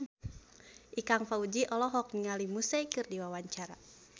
Ikang Fawzi olohok ningali Muse keur diwawancara